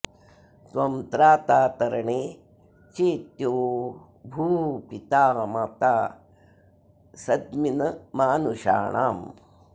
त्वं त्रा॒ता त॑रणे॒ चेत्यो॑ भूः पि॒ता मा॒ता सद॒मिन्मानु॑षाणाम्